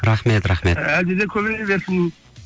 рахмет рахмет әлде де көбейе берсін